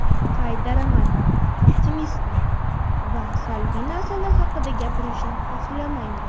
Qaytaraman optimistman va salbiy narsalar haqida gapirishni xohlamayman.